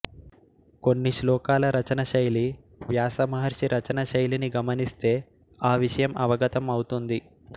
కొన్ని శ్లోకాల రచన శైలి వ్యాస మహర్షి రచన శైలిని గమనిస్తే ఆ విషయం అవగతం అవుతుంది